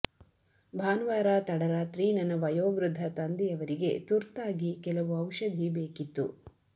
ಭಾನುವಾರ ತಡರಾತ್ರಿ ನನ್ನ ವಯೋವೃದ್ಧ ತಂದೆಯವರಿಗೆ ತುರ್ತಾಗಿ ಕೆಲವು ಔಷಧಿ ಬೇಕಿತ್ತು